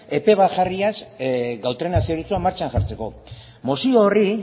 epe bat jarriz gautrena zerbitzua martxan jartzeko mozio horri